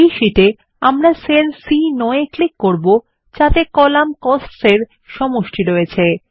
এই শীটে আমরা সেল সি9 এ ক্লিক করব যাতে কলাম কোস্টস এর সমষ্টি রয়েছে